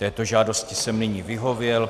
Této žádosti jsem nyní vyhověl.